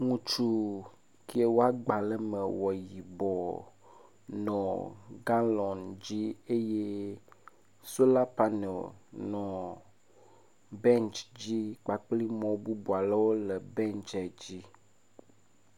Ŋutsu ke wo agbalẽ ewɔ yibɔ nɔ galɔŋ dzi eye sola paneli nɔ bentsi dzi kpakpli mɔ bɔbɔ aɖewo le bentsia dzi.